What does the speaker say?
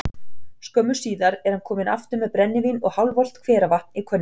Skömmu síðar er hann kominn aftur með brennivín og hálfvolgt hveravatn í könnu.